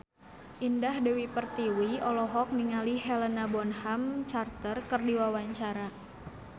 Indah Dewi Pertiwi olohok ningali Helena Bonham Carter keur diwawancara